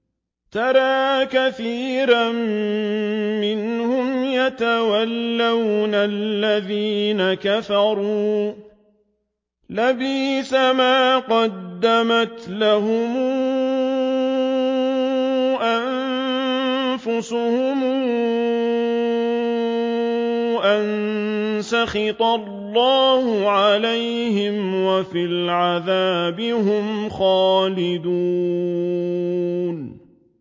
تَرَىٰ كَثِيرًا مِّنْهُمْ يَتَوَلَّوْنَ الَّذِينَ كَفَرُوا ۚ لَبِئْسَ مَا قَدَّمَتْ لَهُمْ أَنفُسُهُمْ أَن سَخِطَ اللَّهُ عَلَيْهِمْ وَفِي الْعَذَابِ هُمْ خَالِدُونَ